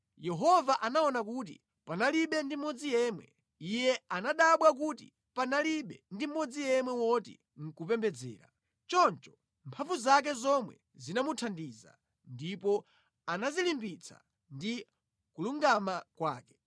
Yehova anaona kuti panalibe ndi mmodzi yemwe, Iye anadabwa kuti panalibe ndi mmodzi yemwe woti nʼkupembedzera; Choncho mphamvu zake zomwe zinamuthandiza, ndipo anadzilimbitsa ndi kulungama kwake;